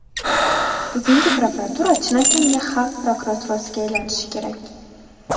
Bugungi prokuratura chinakamiga xalq prokuraturasiga aylanishi kerak.